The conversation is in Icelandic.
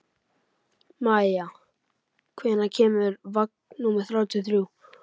Maia, hvenær kemur vagn númer þrjátíu og þrjú?